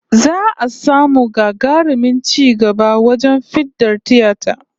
Za'a samu gagarumin ci gaba wajen fiɗar tiyata